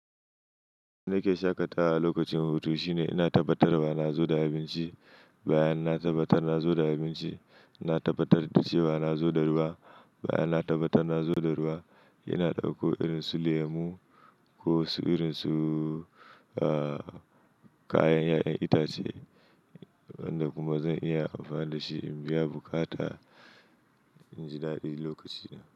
In nake shaƙatawa lokacin hutu shine ina tabbatarwa na zo da abinci, bayan na tabbatar na zo da abinci, na tabbatar da cewa na zo da ruwa, bayan na tabbatar na zo da ruwa ina dauko irin su lemu ko su irin su, ah, kayan 'ya'yan itace wanda kuma zan iya amfana da shi in biya buƙata inji dadilokacin.